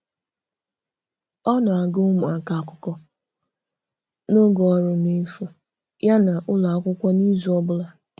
Ọ na-agụ̀ ụmụaka akụkọ n’oge ọrụ n’efu ya n’ụlọ akwụkwọ n’izu ọ bụla.